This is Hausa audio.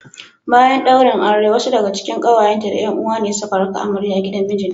Bayan daurin auren wasu daga cikin kawayenta da 'yan uwa ne suka raka amarya gidan mijinta